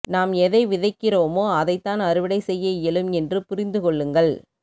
நாம் எதை விதைக்கிறோமோ அதைத் தான் அறுவடை செய்ய இயலும் என்றுப் புரிந்துக் கொள்ளுங்கள்